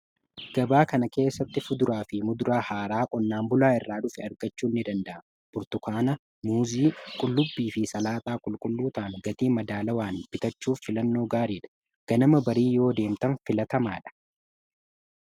Gabaa kana keessatti fuduraa fi muduraa haaraa qonnaan bulaa irraa dhufe argachuun ni danda'ama bortukaana, muzii, qullubbii fi salaaxaa qulqulluutaan gatii madaalawaan bitachuuf filannoo gaarii fi ganama barii yoo deemtan filatamaa dha.